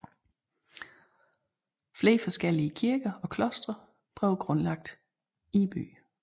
Flere forskellige kirker og klostre blev grundlagt i byen